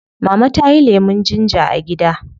Mama tayi lemun ginger a gida